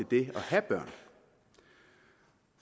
det at have børn